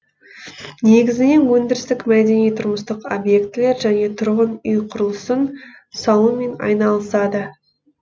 негізінен өндірістік мәдени тұрмыстық объектілер және тұрғын үй құрылысын салумен айналысады